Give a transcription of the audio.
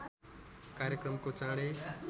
कार्यक्रमको चाँडै